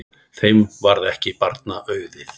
Þeim varð ekki barna auðið.